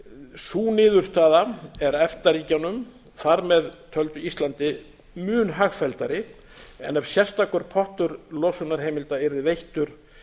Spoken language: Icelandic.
sú niðurstaða er efta ríkjunum þar með töldu íslandi mun hagfelldari en ef sérstakur pottur losunarheimilda yrði veittur